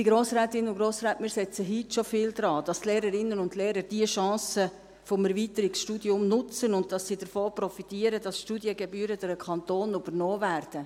Liebe Grossrätinnen und Grossräte, wir setzen heute schon viel daran, dass die Lehrerinnen und Lehrer die Chancen des Erweiterungsstudiums nutzen und dass sie davon profitieren, dass die Studiengebühren durch den Kanton übernommen werden.